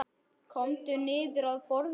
Komdu niður að borða.